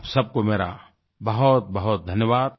आप सब को मेरा बहुतबहुत धन्यवाद